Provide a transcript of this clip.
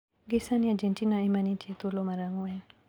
Gi sani Argentina ema nitie e thuolo mar ang`wen.